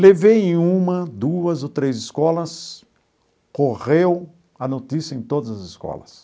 Levei em uma, duas ou três escolas, correu a notícia em todas as escolas.